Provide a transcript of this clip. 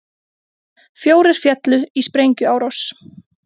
Fjórir féllu í sprengjuárás